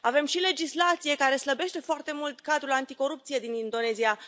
Avem și legislație care slăbește foarte mult cadrul anticorupție din Indonezia.